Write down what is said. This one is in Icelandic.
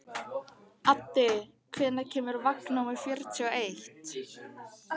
Addi, hvenær kemur vagn númer fjörutíu og eitt?